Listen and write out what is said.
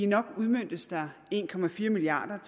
nok udmøntes der en milliard